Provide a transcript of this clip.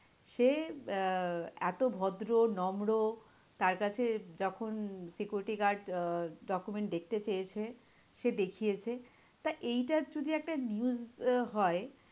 সে আহ এতো ভদ্র, নম্র তার কাছে যখন security guard আহ document দেখতে চেয়েছে সে দেখিয়েছে। তা এইটা যদি একটা news হয়,